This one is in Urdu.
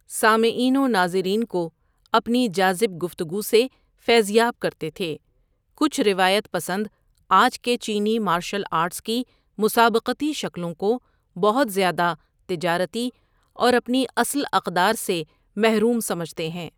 سامعین وناظرین کواپنی جاذب گفتگوسے فیضیاب کرتے تھے کچھ روایت پسند آج کے چینی مارشل آرٹس کی مسابقتی شکلوں کو بہت زیادہ تجارتی اور اپنی اصل اقدار سے محروم سمجھتے ہیں۔